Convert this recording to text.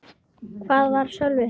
Hvar var Sölvi?